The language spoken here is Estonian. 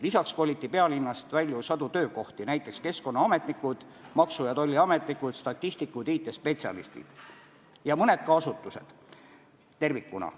Lisaks koliti pealinnast välja sadu töökohti, näiteks keskkonnaametnikud, maksu- ja tolliametnikud, statistikud, IT-spetsialistid ja mõned asutused ka tervikuna.